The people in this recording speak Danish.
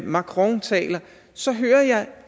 macron taler så hører jeg